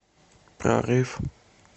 прорыв